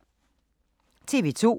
TV 2